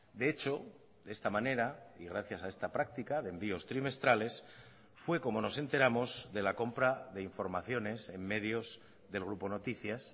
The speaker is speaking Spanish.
de hecho de esta manera y gracias a esta práctica de envíos trimestrales fue como nos enteramos de la compra de informaciones en medios del grupo noticias